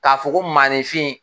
K'a fɔ ko maninfin.